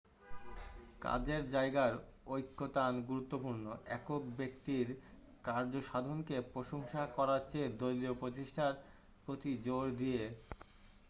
কাজের যায়গার ঐকতান গুরুত্বপূর্ণ একক ব্যক্তির কার্যসাধনকে প্রশংসা করারচেয়ে দলীয় প্রচেষ্টার প্রতি জোর দিয়ে